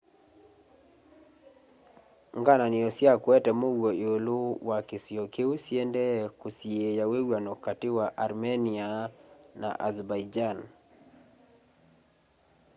ngaananio sya kueta muuo iulu wa kisio kiu syiendee kusiiya wiw'ano kati wa armenia na azerbaijan